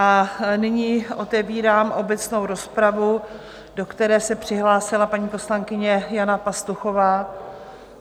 A nyní otevírám obecnou rozpravu, do které se přihlásila paní poslankyně Jana Pastuchová.